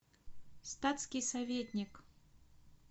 статский советник